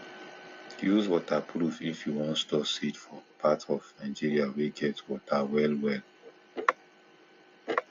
use waterproof if you wan store seed for part of nigeria wey get water well well um